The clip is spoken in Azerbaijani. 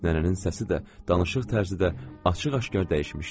Nənənin səsi də, danışıq tərzi də açıq-aşkar dəyişmişdi.